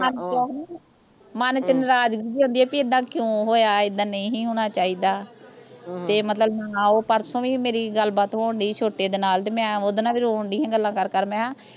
ਮਨ ਚ ਆਉਂਦੀ ਮਨ ਚ ਨਰਾਜ਼ਗੀ ਜਿਹੀ ਆਉਂਦੀ ਆ ਬੀ ਐਦਾਂ ਕਿਓਂ ਹੋਇਆ ਐਦਾਂ ਨਹੀਂ ਸੀ ਹੋਣਾਂ ਚਾਹੀਦਾ ਹਮ ਤੇ ਮਤਲਬ ਮਨਾਓ ਤੇ ਪਰਸੋਂ ਵੀ ਮੇਰੀ ਗੱਲ ਬਾਤ ਹੋਣ ਡਈ ਸੀ ਛੋਟੇ ਦੇ ਨਾਲ ਤੇ ਮੈਂ ਉਹਦੇ ਨਾਲ ਵੀ ਰੋਣ ਡਈ ਸੀ ਗੱਲਾਂ ਕਰ ਕਰ ਮੈਂ ਕਿਹਾ